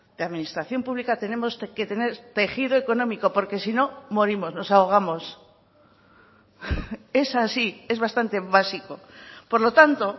de administración pública tenemos que tener tejido económico porque si no morimos nos ahogamos es así es bastante básico por lo tanto